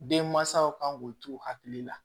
Den mansaw kan k'u t'u hakili la